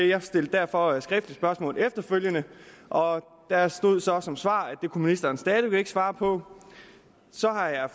jeg stillede derfor et skriftligt spørgsmål efterfølgende og der stod så som svar at det kunne ministeren stadig væk ikke svare på så har jeg